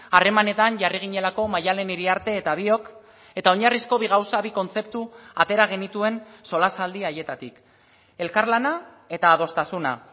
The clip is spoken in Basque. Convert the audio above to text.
harremanetan jarri ginelako maddalen iriarte eta biok eta oinarrizko bi gauza bi kontzeptu atera genituen solasaldi haietatik elkarlana eta adostasuna